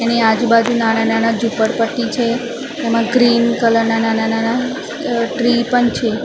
એની આજુ-બાજુ નાના-નાના ઝુપડપટ્ટી છે એમા ગ્રીન કલર ના નાના-નાના અ ટ્રી પણ છે.